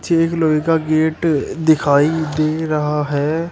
एक लोहे का गेट दिखाई दे रहा है।